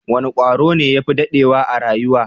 Wane kwaro ne ya fi dadewa a rayuwa?